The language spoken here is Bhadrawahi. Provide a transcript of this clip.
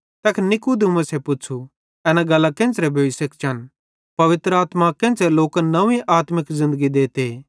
तैखन नीकुदेमुसे पुच्छ़ू एना गल्लां केन्च़रे सेइं भोइ सकतिन पवित्र आत्मा केन्च़रां लोकन नव्वीं आत्मिक ज़िन्दगी देते